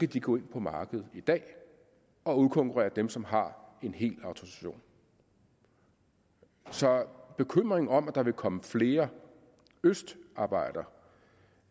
de gå ind på markedet i dag og udkonkurrere dem som har en hel autorisation så bekymringen for om der vil komme flere østarbejdere